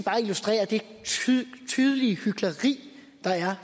illustrerer det tydelige hykleri der er